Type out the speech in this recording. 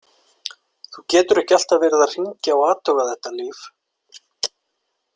Þú getur ekki alltaf verið að hringja og athuga þetta, Líf.